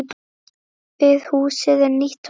Við húsið er nýtt torg.